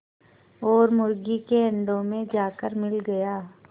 और मुर्गी के अंडों में जाकर मिल गया